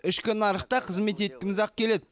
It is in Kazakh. ішкі нарықта қызмет еткіміз ақ келеді